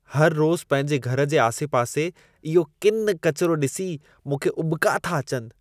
हर रोज़ पंहिंजे घर जे आसे-पासे इहो किनि-किचिरो ॾिसी, मूंखे उॿका था अचनि।